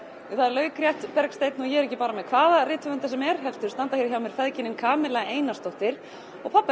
laukrétt Bergsteinn og ég er ekki bara með hvaða rithöfunda sem er heldur standa hjá mér feðginin Einarsdóttir og